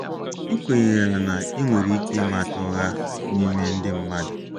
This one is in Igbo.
Ị kwenyere na ị nwere ike ịmata ụgha n’ime ndị mmadụ?